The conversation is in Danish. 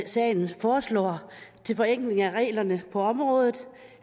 sagen foreslår til forenkling af reglerne på området